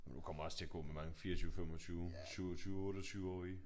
Du kommer også til at gå med mange 24 25 27 28-årige